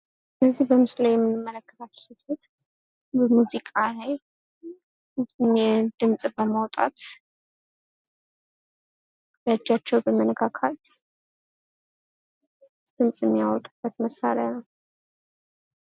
በምስሉ ላይ የምንመለከታት ሴት በሙዚቃ ላይ ድምፅ በማውጣት በእጃቸው በመነካካት ድምፅ የሚያወጡበት መሳሪያ ነው ።